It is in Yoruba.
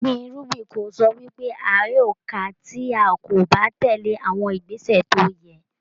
Gbíngbin irúgbìn kò sọ wí pé a yóò ka tí a kò bá tèlé àwọn ìgbésẹ̀ tó yẹ.